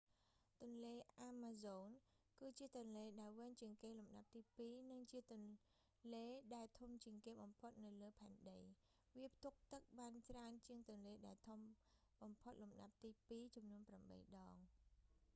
ទន្លេអាម៉ាហ្សូន គឺជាទន្លេដែលវែងជាងគេលំដាប់ទីពីរ និងជាទន្លែងដែលធំជាងគេបំផុតនៅលើផែនដី វាផ្ទុកទឹកបានច្រើនជាងទន្លេដែលធំបំផុតលំដាប់ទីពីរចំនួន8 ដង